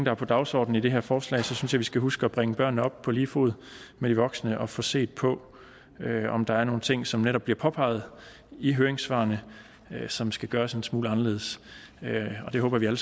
er på dagsordenen i det her forslag synes jeg vi skal huske at bringe børnene op på lige fod med de voksne og få set på om der er nogle ting som netop bliver påpeget i høringssvarene som skal gøres en smule anderledes og det håber jeg